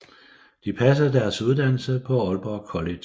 De passede deres uddannelse på Aalborg College